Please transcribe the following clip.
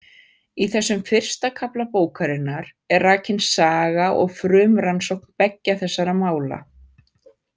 Í þessum fyrsta kafla bókarinnar er rakin saga og frumrannsókn beggja þessara mála.